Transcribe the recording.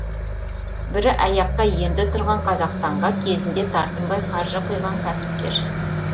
бірі аяққа енді тұрған қазақстанға кезінде тартынбай қаржы құйған кәсіпкер